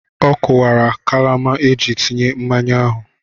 Ọ kụwara kalama eji tinye mmanya ahụ.